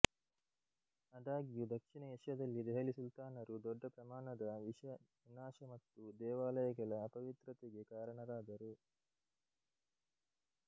ಆದಾಗ್ಯೂ ದಕ್ಷಿಣ ಏಷ್ಯಾದಲ್ಲಿ ದೆಹಲಿ ಸುಲ್ತಾನರು ದೊಡ್ಡ ಪ್ರಮಾಣದ ವಿನಾಶ ಮತ್ತು ದೇವಾಲಯಗಳ ಅಪವಿತ್ರತೆಗೆ ಕಾರಣರಾದರು